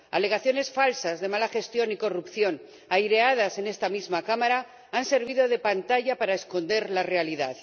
Alegaciones falsas de mala gestión y corrupción, aireadas en esta misma Cámara, han servido de pantalla para esconder la realidad.